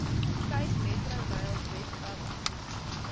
capemetrorail webwerf bied